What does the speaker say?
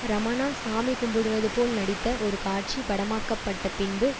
ரமணா சாமி கும்பிடுவதுபோல் நடித்த ஒரு காட்சி படமாக்கப்பட்ட பின்பு